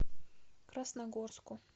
красногорску